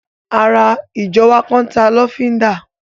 Ará ìjọ wa kan n ta lọ́fíndà